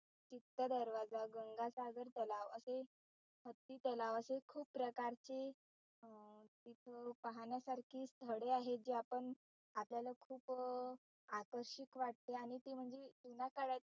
इत्त दरवाजा गंगासाखर तलाव अशे हत्ती तलाव अशे खूप प्रकारचे अं इथं पाहण्यासारखी स्थळे आहेत जे आपन आपल्याला खूप आकर्षिक वाटते आणि ते म्हणजे चुनाकळ्याचे